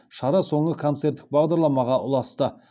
шара соңы концерттік бағдарламаға ұласты